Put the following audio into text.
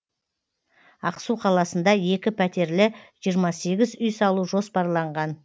ақсу қаласында екі пәтерлі жиырма сегіз үй салу жоспарланған